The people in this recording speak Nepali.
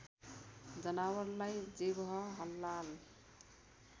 जनावरलाई जिब्ह हलाल